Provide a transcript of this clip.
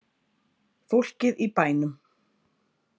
Fólkið í bænum.